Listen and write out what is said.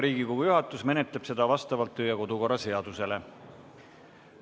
Riigikogu juhatus menetleb seda vastavalt kodu- ja töökorra seadusele.